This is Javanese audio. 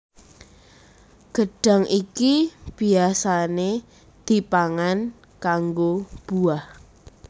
Gedhang iki biyasané dipangan kanggo buah